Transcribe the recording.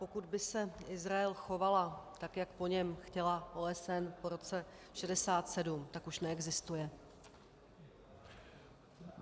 Pokud by se Izrael choval tak, jak po něm chtěla OSN po roce 1967, tak už neexistuje.